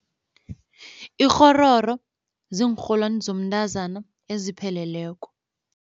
Ikghororo ziinrholwani zomntazana ezipheleleko.